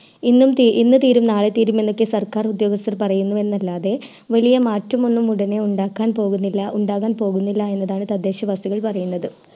ഇന്ന് തീരും നാളെ തീരും എന്നൊക്കെ സർക്കാർ ഉദ്യോഗസ്ഥർ എന്ന് പറയുന്നതല്ലാതെ വല്യ മാറ്റം ഒന്നും ഉടനെ ഉണ്ടാകാൻ പോകുന്നില്ല എന്നതാണ് തദ്ദേശ വകുപ്പ് പറയുന്നത്